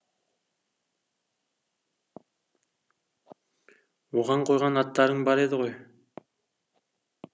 оған қойған аттарың бар еді ғой